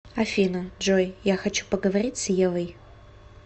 афина джой я хочу поговорить с евой